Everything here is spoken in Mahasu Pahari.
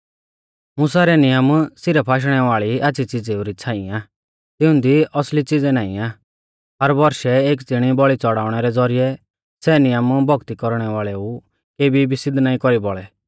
मुसा रै नियम सिरफ आशणै वाल़ी आच़्छ़ी च़िज़ेऊ री छ़ांई आ तिंउदी असली च़िज़ै नाईं आ हर बौरशै एक ज़िणी बौल़ी च़ौड़ाउणै रै ज़ौरिऐ सै नियम भौक्ती कौरणै वाल़ेऊ केबी भी सिद्ध नाईं कौरी बौल़ै